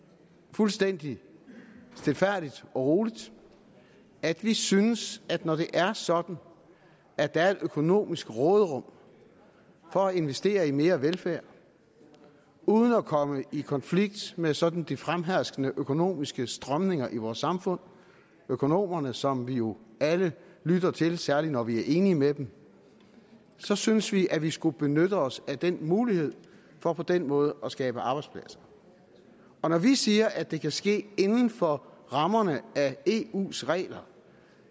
fuldstændig stilfærdigt og roligt at vi synes at når det er sådan at der er et økonomisk råderum for at investere i mere velfærd uden at komme i konflikt med sådan de fremherskende økonomiske strømninger i vores samfund økonomerne som vi jo alle lytter til særlig når vi er enige med dem så synes vi at vi skulle benytte også den mulighed for på den måde at skabe arbejdspladser og når vi siger at det kan ske inden for rammerne af eus regler